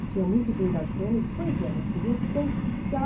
Eu tinha muita intimidade com ele, ele disse, pois é, minha filha, eu sei que ela...